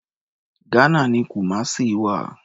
Ghana ni Kumasi wà.